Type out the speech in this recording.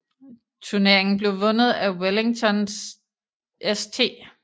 Turneringen blev vundet af Wellington St